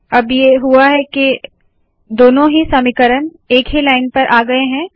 अब ये हुआ है के दोनों ही समीकरण एक ही लाइन पर आ गए है